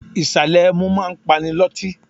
Ìsàlè ẹmu máa ń pani loti.